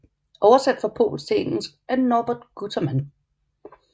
Oversat fra polsk til engelsk af Norbert Guterman